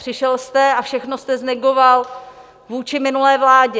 Přišel jste a všechno jste znegoval vůči minulé vládě.